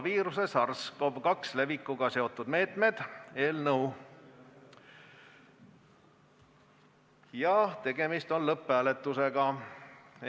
Tegemist on eelnõu 170 lõpphääletusega.